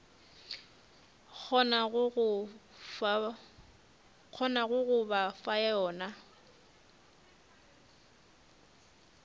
kgonago go ba fa yona